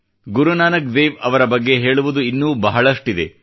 ಗುರುನಾನಕ್ ದೇವ್ ಅವರ ಬಗ್ಗೆ ಹೇಳುವುದು ಇನ್ನೂ ಬಹಳಷ್ಟಿದೆ